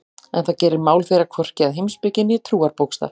En það gerir mál þeirra hvorki að heimspeki né trúarbókstaf.